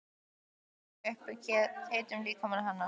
Hjúfra mig upp að heitum líkama hennar.